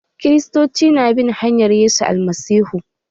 Kiristoci su na bin hanyan Yesu Almasihu.